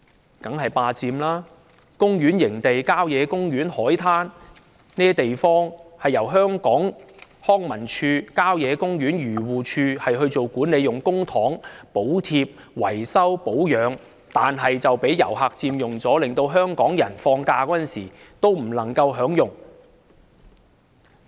那當然是"霸佔"，公園營地、郊野公園、海灘等地方由康樂及文化事務署、漁農自然護理署做管理，用公帑補貼、維修、保養，但這些地方卻被遊客佔用，令香港人放假時不能享用。